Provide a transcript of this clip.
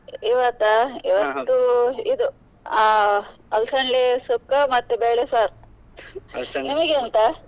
ಇವತ್ತಾ ಇದು ಅಹ್ ಅಲ್ಸನ್ದೆ ಸುಕ್ಕ ಮತ್ತೆ ಬೇಳೆ ಸಾರು ನಿಮಗೆ ಎಂತ?